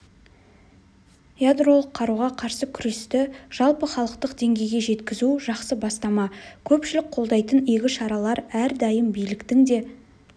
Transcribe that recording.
ядролық қаруға қарсы күресті жалпыхалықтық деңгейге жеткізу жақсы бастама көпшілік қолдайтын игі шаралар әрдайым биліктің де